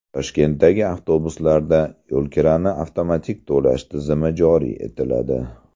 Toshkentdagi avtobuslarda yo‘lkirani avtomatik to‘lash tizimi joriy etiladi.